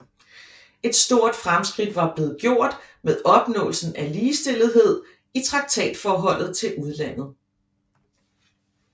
Et stort fremskridt var blevet gjort med opnåelsen af ligestillethed i traktatforholdet til udlandet